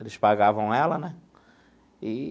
Eles pagavam ela, né? Eee.